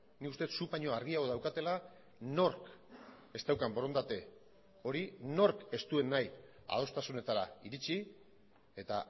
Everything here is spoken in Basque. nik uste zuk baino argiago daukatela nork ez daukan borondate hori nork ez duen nahi adostasunetara iritsi eta